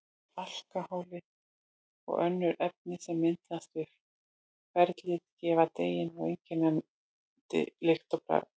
Alkóhólið og önnur efni sem myndast við ferlið gefa deiginu einkennandi lykt og bragð.